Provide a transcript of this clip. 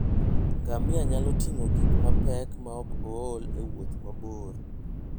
Ngamia nyalo ting'o gik mapek maok ool e wuoth mabor.